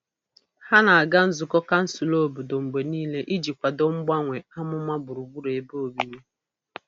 Ha na-aga nzukọ kansụl obodo mgbe niile iji kwado mgbanwe amụma gburugburu ebe obibi.